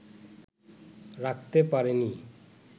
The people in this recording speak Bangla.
রাখতে পারেনি